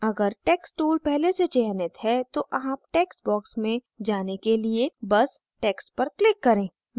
अगर text tool पहले से चयनित है तो आप टेक्स्ट बॉक्स में जाने के लिए बस टेक्स्ट पर क्लिक करें